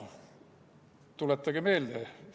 Tuletage meelde!